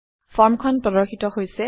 ফৰ্মখন প্ৰদৰ্শিত হৈছে